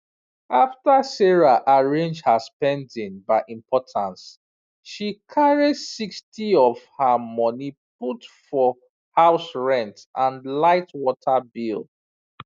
after sarah arrange her spending by importance she carry 60of her money put for house rent and lightwater bill